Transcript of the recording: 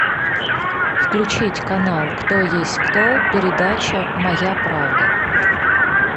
включить канал кто есть кто передача моя правда